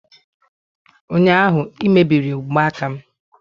ụnyaahụ ị emebiri mgbaaka m!